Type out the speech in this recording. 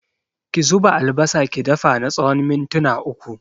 Ki zuba albasa ki dafa na tsawon mintuna uku